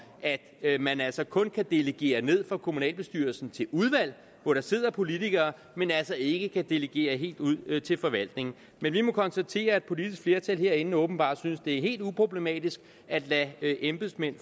at man altså kun kan delegere ned fra kommunalbestyrelsen til udvalg hvor der sidder politikere men altså ikke kan delegere helt ud til forvaltningen men vi må konstatere at et politisk flertal herinde åbenbart synes det er helt uproblematisk at lade embedsmænd